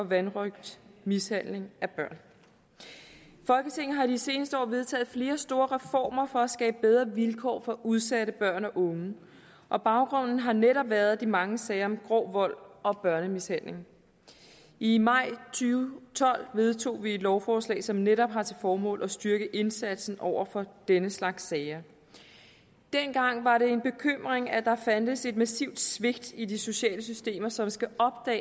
vanrøgt og mishandling af børn folketinget har i de seneste år vedtaget flere store reformer for at skabe bedre vilkår for udsatte børn og unge og baggrunden har netop været de mange sager om grov vold og børnemishandling i maj og tolv vedtog vi et lovforslag som netop har til formål at styrke indsatsen over for den slags sager dengang var det en bekymring at der fandtes et massivt svigt i de sociale systemer som skal